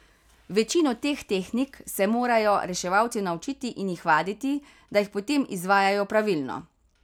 Večino teh tehnik se morajo reševalci naučiti in jih vaditi, da jih potem izvajajo pravilno.